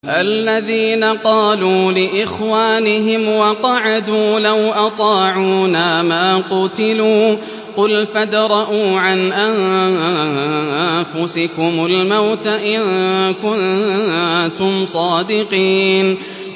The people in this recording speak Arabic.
الَّذِينَ قَالُوا لِإِخْوَانِهِمْ وَقَعَدُوا لَوْ أَطَاعُونَا مَا قُتِلُوا ۗ قُلْ فَادْرَءُوا عَنْ أَنفُسِكُمُ الْمَوْتَ إِن كُنتُمْ صَادِقِينَ